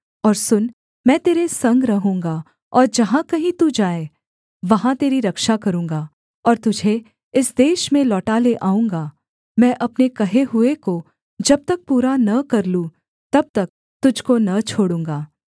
और सुन मैं तेरे संग रहूँगा और जहाँ कहीं तू जाए वहाँ तेरी रक्षा करूँगा और तुझे इस देश में लौटा ले आऊँगा मैं अपने कहे हुए को जब तक पूरा न कर लूँ तब तक तुझको न छोड़ूँगा